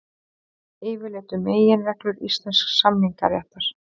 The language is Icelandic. Yfirlit um meginreglur íslensks samningaréttar.